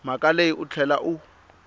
mhaka leyi u tlhela u